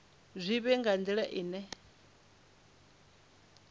zwi vhe nga nila ine